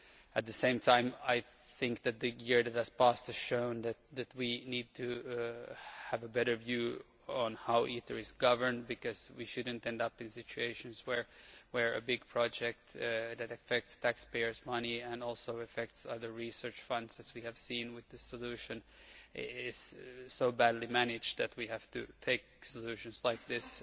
At the same time I think the past year has shown that we need to have a better view on how ITER is governed, because we should not end up in situations where a big project that affects taxpayers' money and also affects other research funds, as we have seen with this solution, is so badly managed that we have to use solutions like this